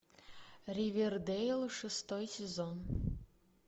ривердэйл шестой сезон